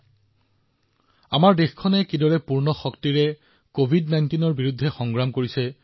আমি দেখিছো যে দেশখনে কেনেদৰে সৰ্বশক্তিৰে কভিড১৯ৰ বিৰুদ্ধে যুঁজ দি আছে